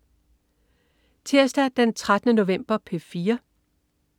Tirsdag den 13. november - P4: